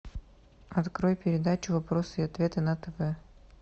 открой передачу вопросы и ответы на тв